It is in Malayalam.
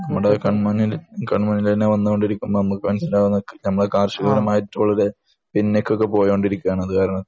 നമ്മുടെ കണ്മുന്നിൽ വന്നുകൊണ്ടിരിക്കുന്ന നമ്മൾക്ക് മനസ്സിലാവുന്ന അത് കാരണത്താൽ